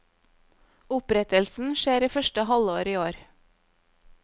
Opprettelsen skjer i første halvår i år.